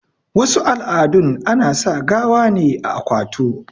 wasu al'adun ana sa gawa ne a akwatu